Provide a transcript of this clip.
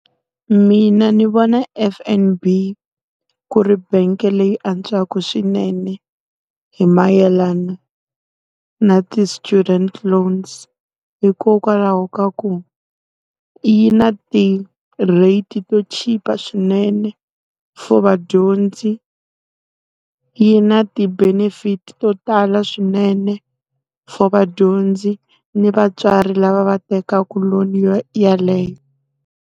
Mina ndzi vona F_N_B ku ri bangi leyi antswaka swinene hi mayelana na ti-student loans. Hikokwalaho ka ku, yi na ti-rate to cheap swinene for vadyondzi. Yi na ti-benefit to tala swinene for vadyondzi ni vatswari lava va tekaku loan yeleyo.